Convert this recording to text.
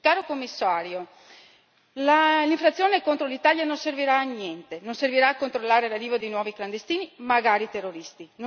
Signor Commissario, l'infrazione contro l'Italia non servirà a niente e non servirà a controllare l'arrivo di nuovi clandestini, magari terroristi.